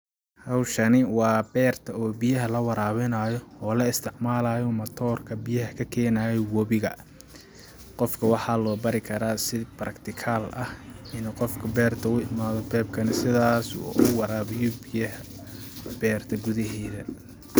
Hawshani waa beerta oo biyaha la waraabinaayo oo la isticmalaayo matoorka biyaha kakeenayo wobiga qofka waxaa loo bari karaa si practical ah inuu qofka u imaado beerta pipe ka nah sidaas uu u waraabiyo biyaha beerta gudaheeda.